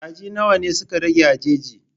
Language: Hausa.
Kaji nawa suka rage a jeji?